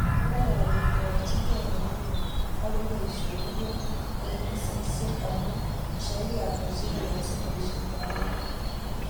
Ngololndochinkei pororiet ak koib boisionik eng ofisiisek amu shairi hata cheilosu boisietab eut?